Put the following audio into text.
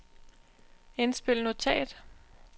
indspil notat